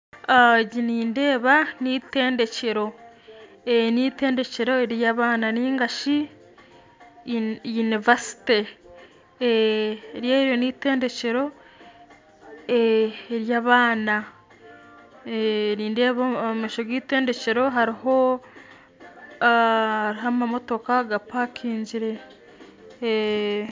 Egi nindeeba na itendekero, ni itendekero erya abaana ningashi yinivasite. ni itendekero rya abaana nindeeba omu maisho ga itendekero hariho amamotoka gapakingire